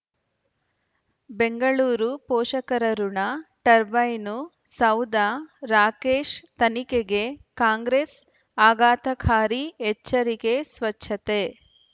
ಬೆಂಗಳೂರು ಪೋಷಕರಋಣ ಟರ್ಬೈನು ಸೌಧ ರಾಕೇಶ್ ತನಿಖೆಗೆ ಕಾಂಗ್ರೆಸ್ ಆಘಾತಕಾರಿ ಎಚ್ಚರಿಕೆ ಸ್ವಚ್ಛತೆ